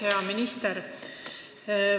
Hea minister!